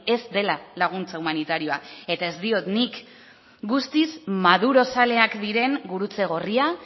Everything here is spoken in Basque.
ez dela laguntza humanitarioa eta ez diot nik guztiz madurozaleak diren gurutze gorria